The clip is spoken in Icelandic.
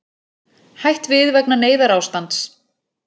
Hætt við vegna neyðarástands